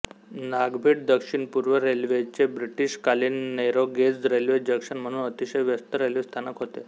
नागभीड दक्षिणपूर्व रेल्वेचे ब्रिटीशकालीन नॅरोगेज रेल्वे जंक्शन म्हणून अतिशय व्यस्त रेल्वे स्थानक होते